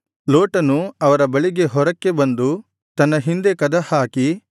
ಲೋಟನು ಅವರ ಬಳಿಗೆ ಹೊರಕ್ಕೆ ಬಂದು ತನ್ನ ಹಿಂದೆ ಕದಹಾಕಿ